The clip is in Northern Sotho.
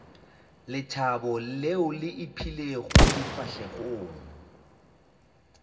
lethabo leo le ipeilego difahlegong